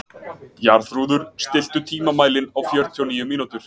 Jarþrúður, stilltu tímamælinn á fjörutíu og níu mínútur.